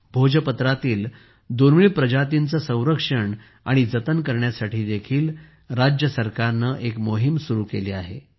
भोजपत्रातील दुर्मिळ प्रजातींचे संरक्षण आणि जतन करण्यासाठी देखील राज्य सरकारने एक मोहीम सुरु केली आहे